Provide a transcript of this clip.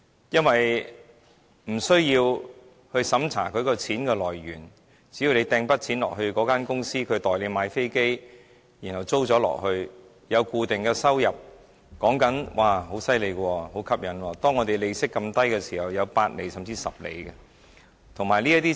因為無須審查金錢來源，只要投資一筆錢到公司，由它代買飛機出租，便可以賺取固定收入，而且在利息這麼低的時候，還可以有8厘，甚至10厘回報，相當厲害、相當吸引。